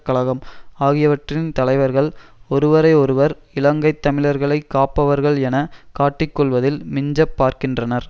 கழகம் ஆகியவற்றின் தலைவர்கள் ஒருவரை ஒருவர் இலங்கை தமிழர்களை காப்பவர்கள் என காட்டிக் கொள்ளுவதில் மிஞ்சப் பார்க்கின்றனர்